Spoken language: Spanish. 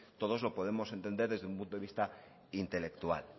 todos lo podemos entender desde un punto de vista intelectual